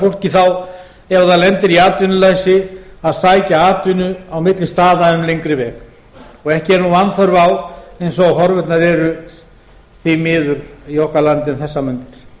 fólki þá ef það lendir í atvinnuleysi að sækja atvinnu á milli staða um lengri veg og ekki er nú vanþörf á eins og horfurnar eru því miður í okkar landi um þessar